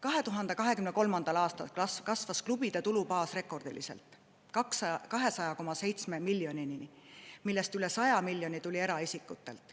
2023. aastal kasvas klubide tulubaas rekordiliselt: 200,7 miljonini, millest üle 100 miljoni tuli eraisikutelt.